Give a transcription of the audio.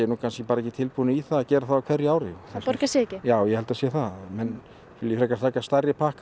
bara ekki tilbúnir í það að gera það á hverju ári borgi sig ekki ég held það sé það menn vilja taka stærri pakka í